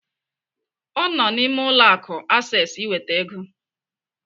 Ọ nọ n'ime ụlọ akụ Access iweta ego.